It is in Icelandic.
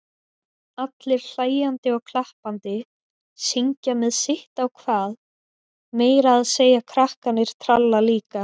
Allir hlæjandi og klappandi, syngja með sitt á hvað, meira að segja krakkarnir tralla líka.